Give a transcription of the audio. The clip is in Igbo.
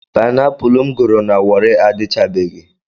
Paịnapụlụ m goro na Wọrị adịchabeghị.